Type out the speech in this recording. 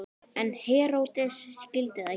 En Heródes skildi það ekki.